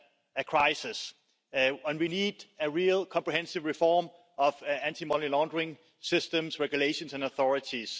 a crisis, and we need a real, comprehensive reform of anti money laundering systems, regulations and authorities.